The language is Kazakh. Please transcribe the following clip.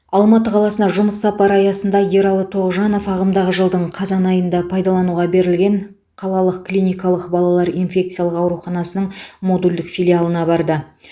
алматы қаласына жұмыс сапары аясында ералы тоғжанов ағымдағы жылдың қазан айында пайдалануға берілген қалалық клиникалық балалар инфекциялық ауруханасының модульдік филиалына барды